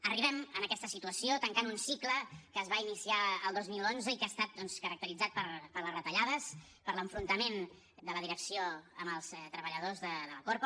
arribem en aquesta situació tancant un cicle que es va iniciar el dos mil onze i que ha estat doncs caracteritzat per les retallades per l’enfrontament de la direcció amb els treballadors de la corpo